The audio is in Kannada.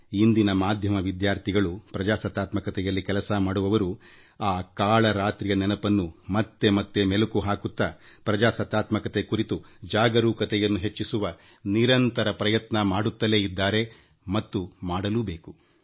ಇಂದಿನ ಪತ್ರಿಕೋದ್ಯಮ ವಿದ್ಯಾರ್ಥಿಗಳು ಪ್ರಜಾಪ್ರಭುತ್ವದಲ್ಲಿ ಕೆಲಸ ಮಾಡುವವರು ಆ ಕರಾಳ ರಾತ್ರಿಯ ನೆನಪನ್ನು ಮತ್ತೆ ಮತ್ತೆ ಮೆಲುಕು ಹಾಕುತ್ತಾ ಪ್ರಜಾಪ್ರಭುತ್ವ ಕುರಿತು ಜಾಗರೂಕತೆಯನ್ನು ಹೆಚ್ಚಿಸುವ ನಿರಂತರ ಪ್ರಯತ್ನ ಮಾಡುತ್ತಿದ್ದಾರೆ ಮತ್ತು ಮಾಡಲೂ ಬೇಕು